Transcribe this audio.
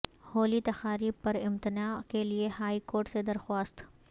ہولی تقاریب پر امتناع کیلئے ہائی کورٹ سے درخواست